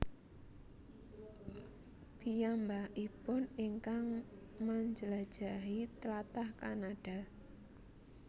Piyambakipun ingkang manjlajahi tlatah Kanada